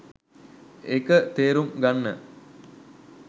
ඒක තේරුම් ගන්න